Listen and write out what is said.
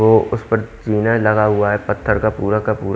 तो उस पर जीना लगा हुआ है पत्थर का पूरा का पू--